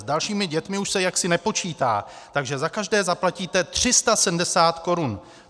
S dalšími dětmi už se jaksi nepočítá, takže za každé zaplatíte 370 korun.